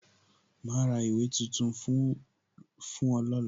Ma ra ìwé tuntun fún ọ lọ́la